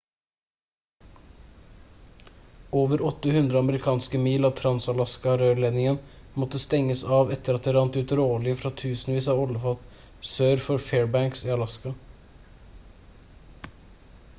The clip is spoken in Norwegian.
over 800 amerikanske mil av trans-alaska-rørledningen måtte stenges av etter at det rant ut råolje fra tusenvis av oljefat sør for fairbanks i alaska